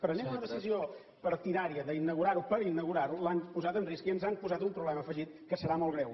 prenent una decisió partidària d’inaugurar ho per inaugurar ho l’han posat en risc i ens han posat un problema afegit que serà molt greu